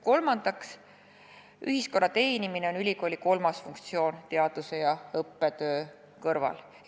Kolmandaks, ühiskonna teenimine on teaduse ja õppetöö kõrval ülikooli kolmas funktsioon.